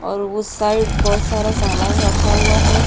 और उस साइड बोहोत सारा सामान रखा हुआ है।